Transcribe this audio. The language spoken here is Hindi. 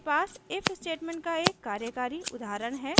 मेरे पास if statement का एक कार्यकारी उदाहरण है